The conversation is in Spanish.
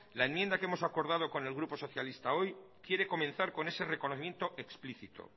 la enmienda que hemos acordado con el grupo socialista hoy quiere comenzar con ese reconocimiento explícito